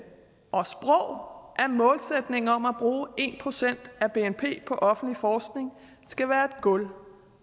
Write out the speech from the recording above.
og sprog at målsætningen om at bruge en procent af bnp på offentlig forskning skal være et gulv